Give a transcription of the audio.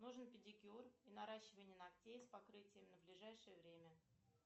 нужен педикюр и наращивание ногтей с покрытием на ближайшее время